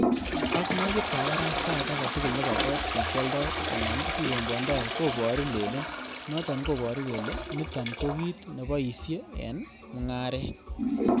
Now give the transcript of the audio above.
Ak nekit kabarastaet agetugul nebo got nekioldoi anan kikombwondo kobooru leliin, noton koboru kele niton ko kit neboisien en mung'aret.